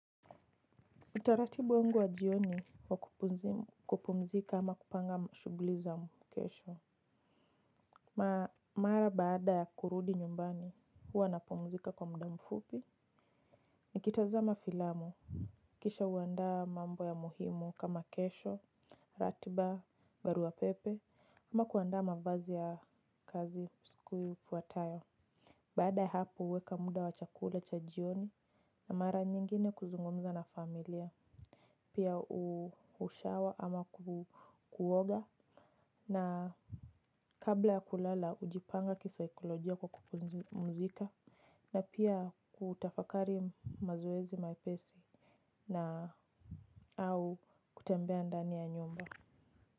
Utaratibu wengu wa jioni wa kupumzika ama kupanga shughuli za kesho. Mara baada ya kurudi nyumbani huwa napumzika kwa mda mfupi. Nikitazama filamu. Kisha huandaa mambo ya muhimu kama kesho, ratiba, barua pepe ama kuandaa mavazi ya kazi siku ifuatayo. Baada ya hapo huweka muda wa chakula cha jioni na mara nyingine kuzungumza na familia. Pia hushower ama kuoga na kabla ya kulala hujipanga kisaikolojia kwa kupumzika na pia kutafakari mazoezi mapesi na au kutembea ndani ya nyumba.